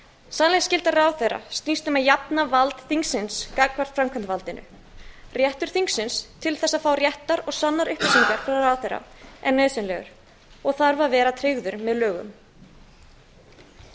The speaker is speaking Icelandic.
sannleiksskylda ráðherra snýst um að jafna vald þingsins gagnvart framkvæmdarvaldinu réttur þingsins til þess að fá réttar og sannar upplýsingar frá ráðherra er nauðsynlegur og þarf að vera tryggður með lögum